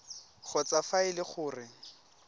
kgotsa fa e le gore